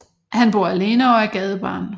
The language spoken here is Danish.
Han bor alene og er gadebarn